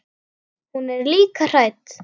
Hún er líka hrædd.